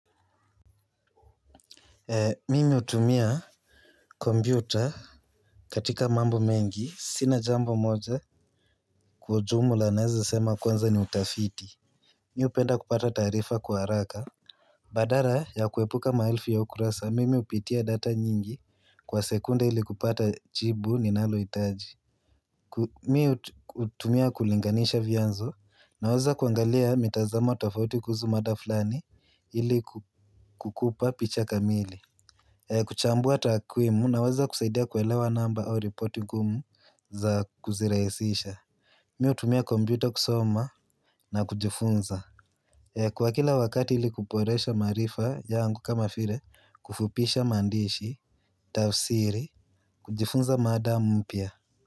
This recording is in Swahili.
Mimi hutumia kompyuta katika mambo mengi, sina jambo moja kwa ujumla naweza sema kwanza ni utafiti. Mi hupenda kupata taarifa kwa haraka. Badala ya kuepuka maelfi ya ukurasa, mimi hupitia data nyingi kwa sekunde ili kupata jibu ninalo hitaji. Mimi hutumia kulinganisha vianzo naweza kuangalia mitazamo tofauti kuhusu mada fulani ili kukupa picha kamili. Kuchambua takwimu naweza kusaidia kuelewa namba au ripoti ngumu za kuzirahisisha. Mi hutumia kompyuta kusoma na kujifunza. Kwa kila wakati ili kuboresha maarifa yangu kama vile kufupisha maandishi. Tafsiri kujifunza mada mpya.